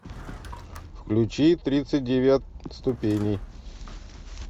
включи тридцать девять ступеней